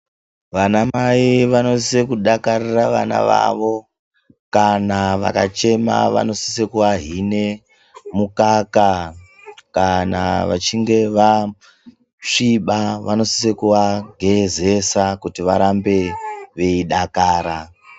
Vanamai vanosise kudakarira vana vavo. Kana vakachema vanosise kuvahine mukaka, kana vachinge vasviba vanosise kuvagezesa kuti varambe veidakara.